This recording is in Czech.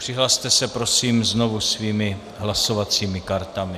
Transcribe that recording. Přihlaste se prosím znovu svými hlasovacími kartami.